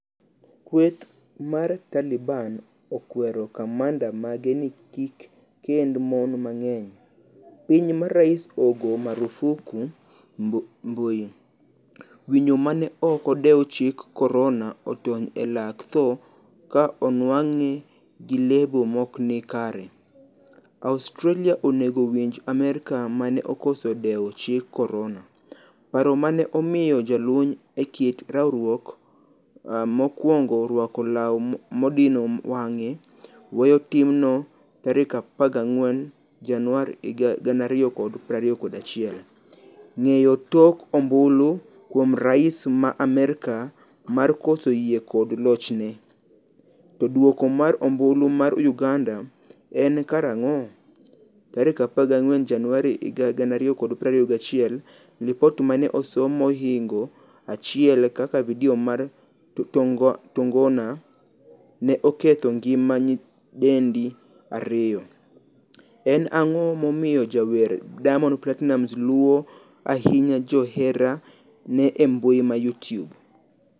Kweth mar Taliban okwero kamanda mage ni kikkend mon mang'eny. piny ma rais ogo marufuku mbui. Winyo mane ok odewo chik korona otony e lak tho ka onwang'e gi lebo maokni kare. Australia onego winj Amerka mane okoso dewo chik korona. paro mane omiyo jalony e kit rwakruok mokwongo rwako law madino wang' weyo timno tarik 14 januari 2021. Ng'eyo tok ombulu kuom rais ma Amerka mar koso yie kod lochne? To duoko mar ombulu mar uganda en karang'o?14 Januari 2021Lipot mane osom mohingo 1 kaka video mar tongona ne oketho ngima nyidendi 2. en ang'o momiyo jawer Diamond Platinumz luo ahinya joherane embui ma Youtube?